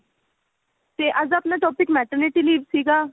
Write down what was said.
ਤੇ ਅੱਜ ਆਪਣਾ topic math ਦੇ related ਸੀਗਾ